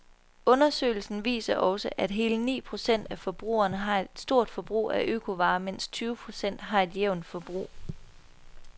Undersøgelsen viser også, at hele ni procent af forbrugerne har et stort forbrug af økovarer, mens tyve procent har et jævnt forbrug.